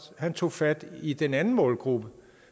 tog fat i den anden målgruppe